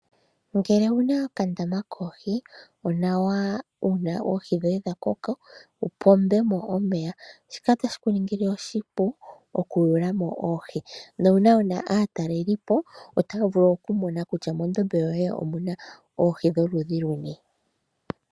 Ngele owuna okandama koohi onawa uuna oohi dhoye dha koko wu pombemo omeya shika otashi ku ningile oshipu oku yuulamo oohi, nuuna wuna aatalelipo otaya vulu oku mona kutya mondombe yoye omuna oohi. dho ludhi luni.